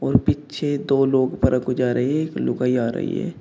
और पीछे दो लोग ऊपरा को जा रहे एक लुगाई आ रही है।